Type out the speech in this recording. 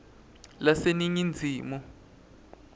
laseningizimu